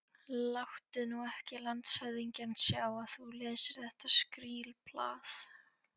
Láttu nú ekki landshöfðingjann sjá, að þú lesir þetta skrílblað.